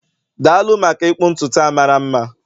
daalụ maka ịkpụ ntutu a mara mma